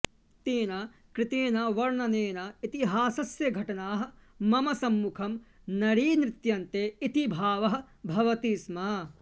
तेन कृतेन वर्णनेन इतिहासस्य घटनाः मम सम्मुखं नरीनृत्यन्ते इति भावः भवति स्म